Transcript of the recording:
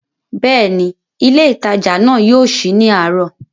Bẹ́ẹ̀ni, ilé ìtajà náà yóò sí ní àárọ̀